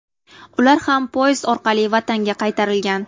Ular ham poyezd orqali vatanga qaytarilgan .